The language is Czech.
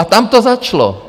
A tam to začalo.